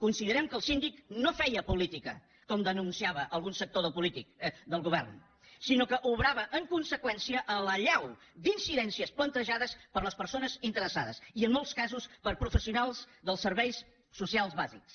considerem que el síndic no feia política com denunciava algun sector del govern sinó que obrava en conseqüència a l’allau d’incidències plantejades per les persones interessades i en molts casos per professionals dels serveis socials bàsics